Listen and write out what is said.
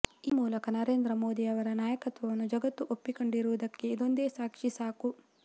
ಈ ಮೂಲಕ ನರೇಂದ್ರ ಮೋದಿಯವರ ನಾಯಕತ್ವವನ್ನು ಜಗತ್ತು ಒಪ್ಪಿಕೊಂಡಿರುವುದಕ್ಕೆ ಇದೊಂದೇ ಸಾಕ್ಷಿ ಸಾಕು